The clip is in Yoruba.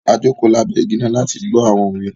A jòko lábẹ́ igi náà láti gbọ àwọn òwe